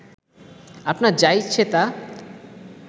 আপনার যা ইচ্ছে তা